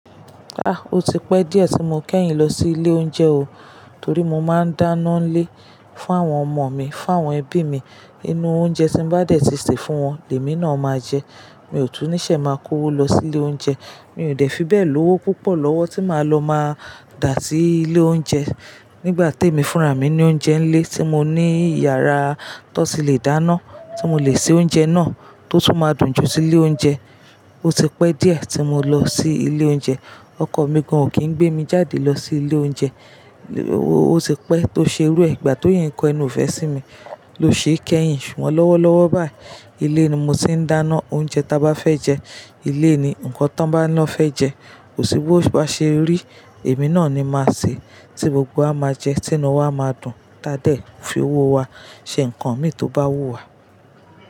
Ah! O ti pẹ́ díẹ̀ tí mo kẹ́yìn lọ sí ilé oúnjẹ o. Torí mo máa ń dáná nílé fún àwọn ọmọ mi, fún àwọn ẹbí mi. Inú oúnjẹ tí bá dẹ̀ ti sè fún wọn, lemi náà máa jẹ. Mi ò tún níṣe máa kó owó lọ sí ilé oúnjẹ. Mi ò dẹ̀ fi bẹ́ẹ̀ lówó púpọ̀ lọ́wọ́ tí máa lọ máa dà sí ilé oúnjẹ. Nígbà temi fúnra mi ní oúnjẹ nlé tí mo ní yàrá tón ti le dáná tí mo le se oúnjẹ náà tó tún máa dùn ju tile oúnjẹ. O ti pẹ́ díẹ̀ tí mo lọ sí ilé oúnjẹ. Ọkọ mi gan ò kí ń gbé mi jáde lọ sí ilé oúnjẹ. O ti pẹ́ tó ṣe irú e, igba tó yìí ń kọ ẹnu ifé sí mi ló ṣe kẹ́yìn. Ṣùgbọ́n lọ́wọ́lọ́wọ́ báyìí ilé ni mo ti ń dáná oúnjẹ ta bá fẹ́ jẹ. Ilé ni nǹkan tí bá lọ fẹ́ jẹ. Kò sí bóba ṣe rí, èmi náà ni máa sè tí gbogbo wa máa jẹ, tí inú wa máa dùn. T'ádẹ̀ fi owó wa ṣe nǹkan mì tó bá wúwa.